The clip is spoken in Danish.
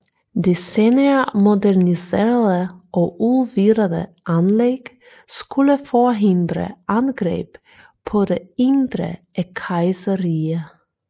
De senere moderniserede og udvidede anlæg skulle forhindre angreb på det indre af kejserriget